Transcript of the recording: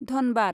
Dhanbad